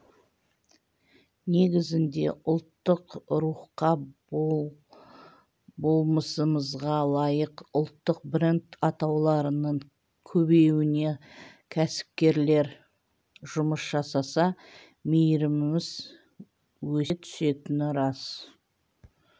негізінде ұлттық рухқа болмысымызға лайық ұлттық бренд атауларының көбеюіне кәсіпкерлер жұмыс жасаса мерейіміз өсе түсетіні рас